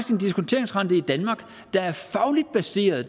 en diskonteringsrente i danmark der er fagligt baseret og